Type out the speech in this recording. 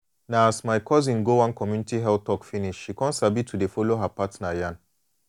na as my cousin go one community health talk finish she come sabi to de follow her partner yan